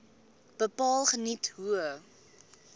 bepaal geniet hoë